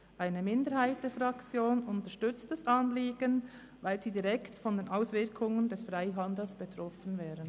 Eine Minderheit der Fraktion unterstützt das Anliegen, weil sie direkt von den Auswirkungen des Freihandels betroffen wäre.